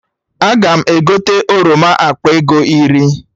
Aga m egote oroma akpa ego iri